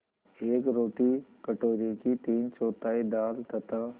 एक रोटी कटोरे की तीनचौथाई दाल तथा